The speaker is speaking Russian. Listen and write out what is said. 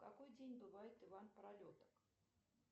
в какой день бывает иван пролеток